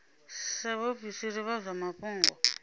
sa vhaofisiri vha zwa mafhungo